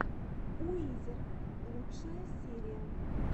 уизер лучшая серия